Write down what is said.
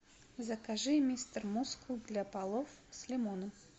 закажи мистер мускул для полов с лимоном